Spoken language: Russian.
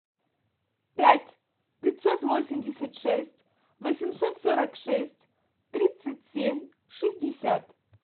пять пятьсот восемьдесят шесть восемьсот сорок шесть тридцать семь шестьдесят